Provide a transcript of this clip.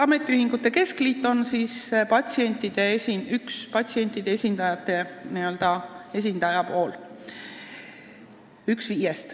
Ametiühingute keskliit on üks viiest patsientide esindajast.